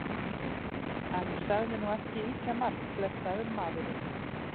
Hann sagði nú ekki ýkjamargt, blessaður maðurinn.